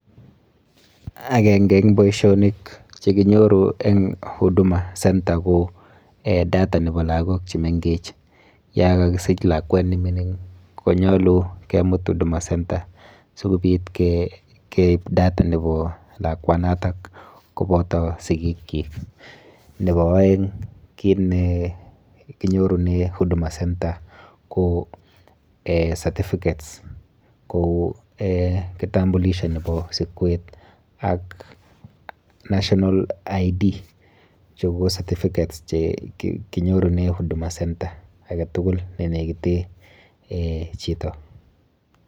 Akenke eng boisionik chekinyoru eng Huduma center ko um data nepo lagok chemenkech. Yokakisich lakwet nemining konyolu kemut Huduma center si kobit keip data nepo lakwanoto kopoto sikikchik. Nepo oeng kit nekinyorune Huduma center ko certificates kou um kitambulisho nepo sikwet ak national identity card. Chu ko certificates chekinyorune Huduma center aketukul nenekite chito.